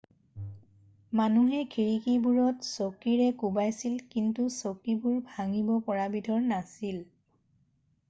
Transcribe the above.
মানুহে খিৰিকিবোৰত চকীৰে কোবাইছিল কিন্তু চকীবোৰ ভাঙিব পৰা বিধৰ নাছিল